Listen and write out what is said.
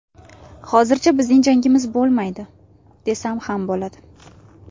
Hozircha bizning jangimiz bo‘lmaydi, desam ham bo‘ladi.